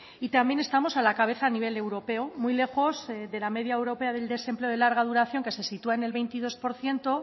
y también estamos a la cabeza a nivel europeo muy lejos de la media europea del desempleo de larga duración que se sitúa en el veintidós por ciento